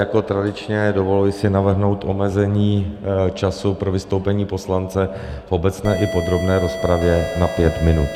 Jako tradičně, dovoluji si navrhnout omezení času pro vystoupení poslance v obecné i podrobné rozpravě na pět minut.